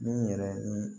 Min yɛrɛ ni